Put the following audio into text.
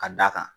Ka d'a kan